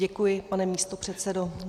Děkuji, pane místopředsedo.